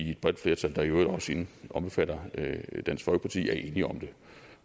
i et bredt flertal der i øvrigt også omfatter dansk folkeparti er enige om det